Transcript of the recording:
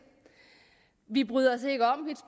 vi bryder os ikke om